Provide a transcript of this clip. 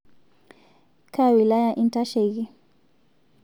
Kaa wilaya intasheiki?